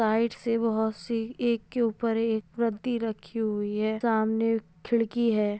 Side से बहुत सी एक के ऊपर एक प्रति रखी हुई है सामाने खिड़की है।